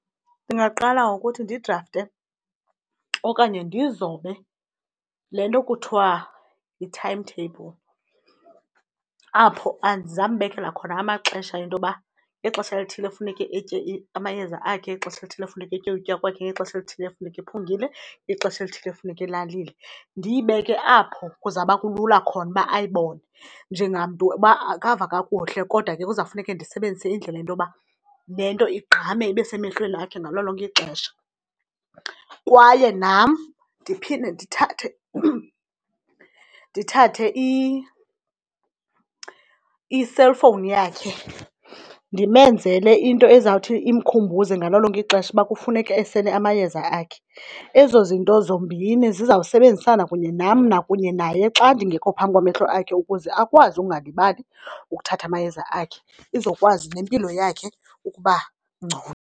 Ndingaqala ngokuthi ndidrafte okanye ndizobe le nto kuthiwa yi-timetable, apho ndizambekela khona amaxesha ento yoba ngexesha elithile kufuneke etye amayeza akhe, ngexesha elithile funeka etye ukutya kwakhe, ngexesha elithile funeka ephungile, ngexesha elithile funeka elalile. Ndiyibeke apho kuzawuba kulula khona uba ayibone njengamntu uba akava kakuhle, kodwa ke kuzawufuneke ndisebenzise indlela yento yoba le nto igqame ibe semehlweni akhe ngalo lonke ixesha. Kwaye nam ndiphinde ndithathe, ndithathe i-cellphone yakhe ndimenzele into ezawuthi imkhumbuze ngalo lonke ixesha uba kufuneke esele amayeza akhe. Ezo zinto zombini zizawusebenzisana kunye nam nakunye naye xa ndingekho phambi kwamehlo akhe ukuze akwazi ukungalibali ukuthatha amayeza akhe izokwazi nempilo yakhe ukuba ngcono.